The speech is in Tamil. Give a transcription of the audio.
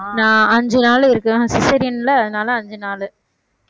நான் அஞ்சு நாள் இருக்கேன் cesarean ல அதனால அஞ்சு நாள்